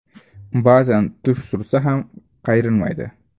Ba’zan tush surtsa ham, qayrilmaydi.